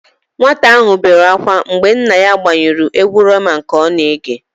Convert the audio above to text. Nwata áhụ̀ bere ákwá mgbe nna ya gbanyụrụ égwú Rema nke ọ na-ege.